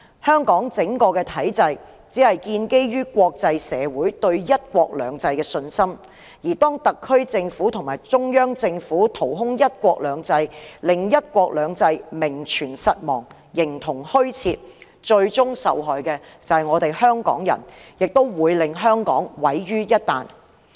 香港整個體制只是建基於國際社會對"一國兩制"的信心，當特區政府和中央政府掏空"一國兩制"，令"一國兩制"名存實亡、形同虛設時，最終受害的就是香港人，亦會令香港毀於一旦。